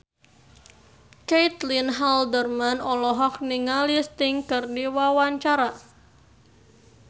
Caitlin Halderman olohok ningali Sting keur diwawancara